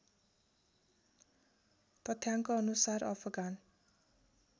तथ्याङ्कअनुसार Afghan